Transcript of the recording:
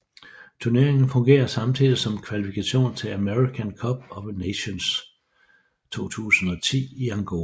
Turneringen fungerede samtidig som kvalifikation til African Cup of Nations 2010 i Angola